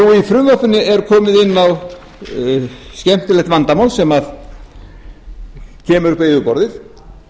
frumvarpinu er komið inn á skemmtilegt vandamál sem kemur upp á yfirborðið